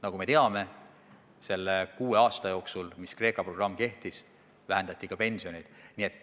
Nagu me teame, selle kuue aasta jooksul, mil Kreeka programm jõus oli, vähendati ka pensione.